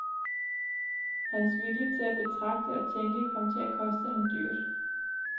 Hans vilje til at betragte og tænke kom til at koste ham dyrt.